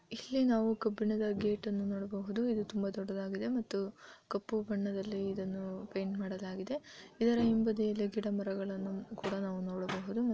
ಇಲ್ಲಿ ನಾವು ಕಬ್ಬಿಣದ ಗೆಟನ್ನು ನೋಡಬಹುದು ಇದು ತುಂಬಾ ದೊಡ್ಡದಾಗಿದೆ ಮತ್ತು ಕಪ್ಪು ಬಣ್ಣದಲ್ಲಿ ಇದನ್ನು ಪೆಂಟ ಮಾಡಲಾಗಿದೆ ಇದರ ಹಿಂಬದಿಯಲ್ಲಿ ಗಿಡ ಮರಗಳನ್ನು ಕುಡ ನಾವು ನೊಡಬಹುದು .